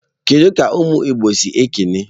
Kedu ka umu igbo si ekene?